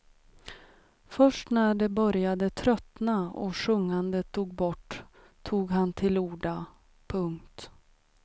Först när de började tröttna och sjungandet dog bort tog han till orda. punkt